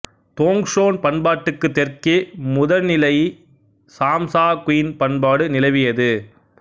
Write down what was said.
தோங் Son பண்பாட்டுக்குத் தெற்கே முதனிலைச் சாம் சா குய்ன் பண்பாடு நிலவியது